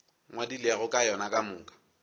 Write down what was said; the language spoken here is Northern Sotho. ngwadilego ka yona ka moka